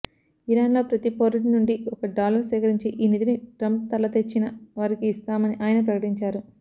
ఇరాన్లో ప్రతి పౌరుడి నుండి ఒక డాలర్ సేకరించి ఈ నిధిని ట్రంప్ తలతెచ్చిన వారికి ఇస్తామని ఆయన ప్రకటించారు